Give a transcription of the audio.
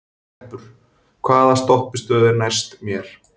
Greppur, hvaða stoppistöð er næst mér?